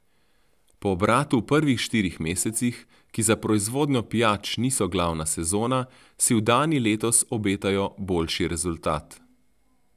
Po obratu v prvih štirih mesecih, ki za proizvodnjo pijač niso glavna sezona, si v Dani letos obetajo boljši rezultat.